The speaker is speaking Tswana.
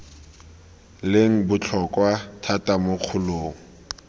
leng botlhokwa thata mo kgolong